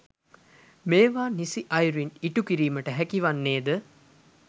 මේවා නිසි අයුරින් ඉටුකිරීමට හැකි වන්නේ ද